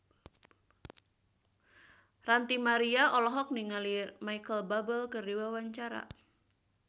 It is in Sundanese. Ranty Maria olohok ningali Micheal Bubble keur diwawancara